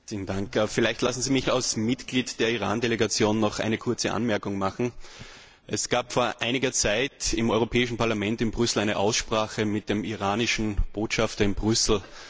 Herr Präsident! Vielleicht lassen Sie mich als Mitglied der Iran Delegation noch eine kurze Anmerkung machen. Es gab vor einiger Zeit im Europäischen Parlament in Brüssel eine Aussprache mit dem iranischen Botschafter in Brüssel.